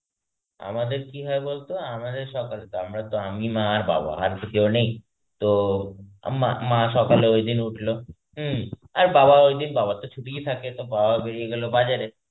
আমাদের কি হয় বলতো আমাদের সকালে তো আমরাতো আমি মা আর বাবা আর তো কেউ নেই তো, আম্মা~ মা সকালে ঐদিন উঠলো হম আর বাবা ঐদিন বাবার তো ছুটিই থাকে তো বাবা বেরিয়ে গেল বাজারে.